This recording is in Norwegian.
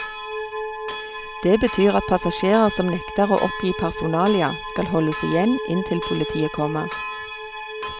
Det betyr at passasjerer som nekter å oppgi personalia, skal holdes igjen inntil politiet kommer.